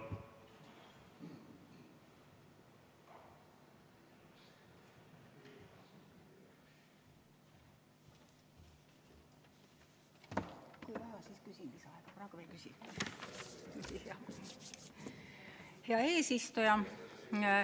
Hea eesistuja!